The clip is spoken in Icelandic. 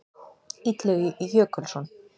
Illugi Jökulsson.